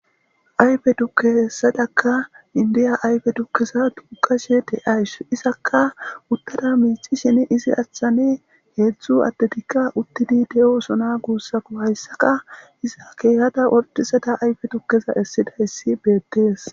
ayfe dukke hessadakka indiya ayfe dukkeza duqashe te ayss izakka uttada miici shin izi achchane heedzdzu attetikka uttidi de7o osona guussako hayssaka iza keehada ortisada ayfe dukkeza essida issi beettees